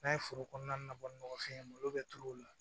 N'a ye foro kɔnɔna na bɔ ni nɔgɔfin ye malo bɛ turu o la